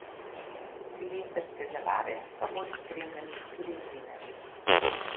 Silvestrske zabave pa bodo spremljali tudi novinarji.